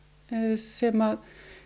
sem